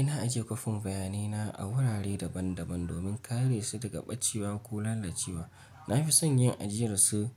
Ina ajiye kwafin bayanai na a wurare daban-daban domin kare su daga ɓacewa ko lalacewa. Na fi son yin ajiyarsu